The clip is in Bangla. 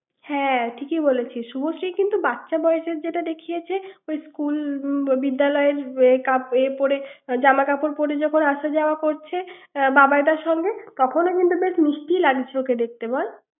হ্যাঁ ঠিকই বলেছি শুভশ্রী কিন্তু বাচ্চা বয়সের যেটা দেখিয়েছে স্কুল বিদ্যালয়ের এ পড়ে জামা কাপড় পড়ে যখন আসা-যাওয়া করছে বাবাই দার সঙ্গে তখনও কিন্তু বেশ মিষ্টি লাগছে ওকে দেখতে তাকে বল ৷